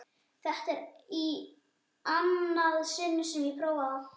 Þetta er í annað sinn sem ég prófa það.